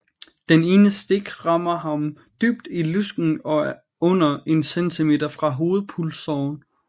Det ene stik rammer ham dybt i lysken og er under en centimeter fra hovedpulsåren